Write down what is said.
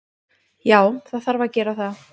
Já, það þarf að gera það.